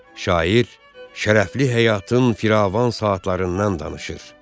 Şair şərəfli həyatın firavan saatlarından danışır.